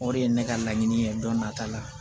O de ye ne ka laɲini ye don nata la